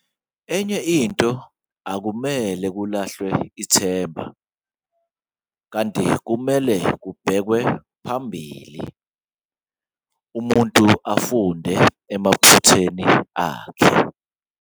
Enye into ukuthi akumele kulahlwe ithemba, kanti kumele kubhekwe phambili, umuntu afunde emaphutheni akhe.